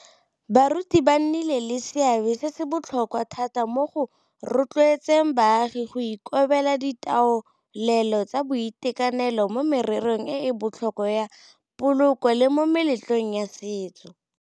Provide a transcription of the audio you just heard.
Baruti ba nnile le seabe se se botlhokwa thata mo go rotloetseng baagi go ikobela ditaolelo tsa boitekanelo mo mererong e e botlhokwa ya poloko le mo meletlong ya setso.